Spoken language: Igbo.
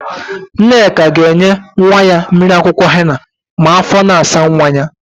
Nneka ga-enye nwa ya mmiri akwụkwọ hena ma áfọ̀ na-asa nwa ya.